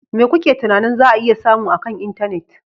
Me kuke tunanin za a iya samu akan intanet?